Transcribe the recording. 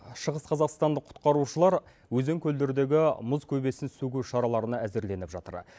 шығыс қазақстандық құтқарушылар өзен көлдердегі мұз көбесін сөгу шараларына әзірленіп жатыр